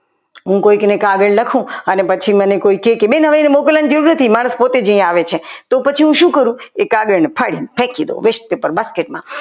હું કોઈકને કાગળ લખું અને પછી મને કોઈ કહે કે બેન તમે તમારે મોકલવાની જરૂર નથી મારે પોતે જ અહીંયા આવે છે પછી હું શું કરું એ કાગળને ફાડીને ફેંકી દઉ west paper basket માં